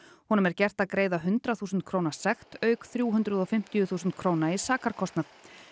honum er gert að greiða hundrað þúsund króna sekt auk þrjú hundruð og fimmtíu þúsund króna í sakarkostnað